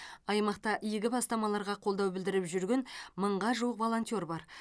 аймақта игі бастамаларға қолдау білдіріп жүрген мыңға жуық волонтер бар